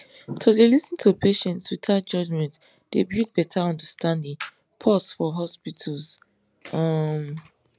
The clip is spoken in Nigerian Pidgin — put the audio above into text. to dey lis ten to patients without judgement dey build better understanding pause for hospitals um